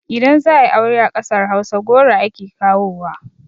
Idan za ayi aure a ƙasar hausa goro ake kawowa